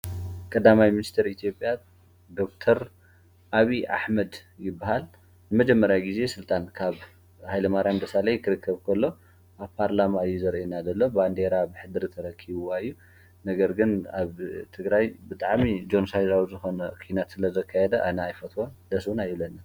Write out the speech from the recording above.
ቀዳማይ ሚንስተር ኢትዮጵያ ዶ/ር ኣብይ ኣሕመድ ይብሃል። ንመጀመርያ ጊዜ ስልጣን ካብ ኃይለማርያም ደሳላይ ክርከብ ከሎ ኣብ ፓርላማ እዪ ዘርእየና ዘሎ ባንዴራ ብሕድሪ ተረኪብዋ እዩ። ነገር ግን ኣብ ትግራይ ብጣዕሚ ጀንሳይራዊ ዝኾነ ኺናት ስለ ዘካየደ ኣና ኣይፈትወን ደስ እውን ኣይብለንን።